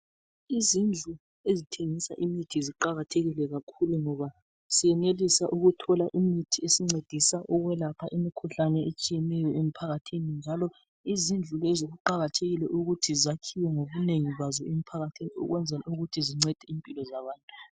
Izindlu ezithengisa imithi ziqakathekile kakhulu ngoba siyenelisa ukuthola imithi esincedisa ukwelapha imikhuhlane etshiyeneyo emphakathini, njalo izindlu lezi kuqakathekile ukuthi zakhiwe ngobunengi bazo emphakathin, ukwenzel' ukuthi zincade impilo zabantu.